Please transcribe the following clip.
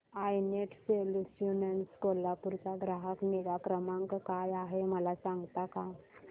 I net solutions Kolhapur चा ग्राहक निगा क्रमांक काय आहे मला सांगता का